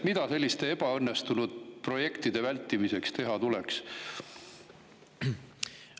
Mida selliste ebaõnnestunud projektide vältimiseks teha tuleks?